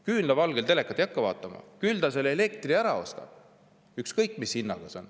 Küünlavalgel telekat ei hakka vaatama, küll ta selle elektri ära ostab, ükskõik mis hinnaga see on.